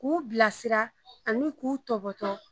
K'u bilasira ani tɔbɔtɔ